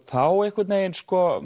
þá einhvern veginn